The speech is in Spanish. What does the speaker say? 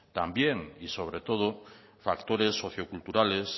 también y sobre todo factores socioculturales